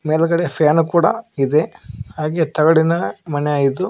ಮೇಲ್ಗಡೆ ಪ್ಯಾನು ಕೂಡ ಇದೆ ಹಾಗೆ ತಗಡಿನ ಮನೆಯಿದ್ದು--